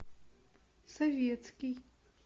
советский